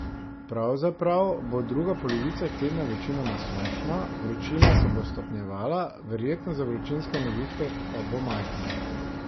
Pravzaprav bo druga polovica tedna večinoma sončna, vročina se bo stopnjevala, verjetnost za vročinske nevihte pa bo majhna.